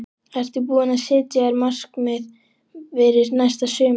Ertu búinn að setja þér markmið fyrir næsta sumar?